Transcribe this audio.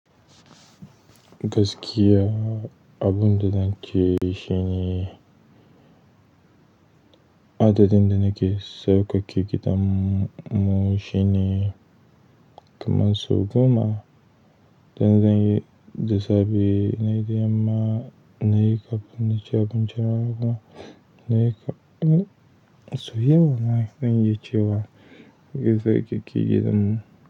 Gaskiya abun da zan ce shine, adadin da nake sauƙaƙe gidanmu shine kaman sau goma. Dan zan yi, da safr nayi da yamma, na yi kafin na ci abinci rana haka, na yi kafin in soyau ma zan yi cewa ys sauƙaƙe gidanmu.